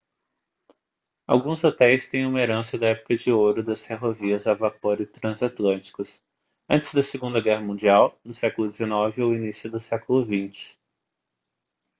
alguns hotéis têm uma herança da época de ouro das ferrovias a vapor e transatlânticos antes da segunda guerra mundial no século 19 ou início do século 20